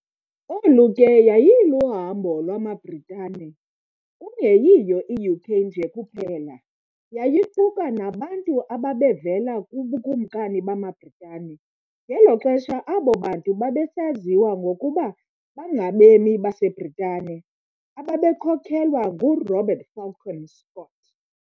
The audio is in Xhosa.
Olu ke yayiluhambo lwamaBritane, kungeyiyo i-UK nje kuphela, yayiquka nabantu ababevela kubukumkani bamaBritane, ngelo xesha abo bantu babesaziwa ngokuba bangabemi baseBritane, ababekhokhelwa ngu-Robert Falcon Scott.